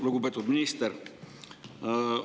Lugupeetud minister!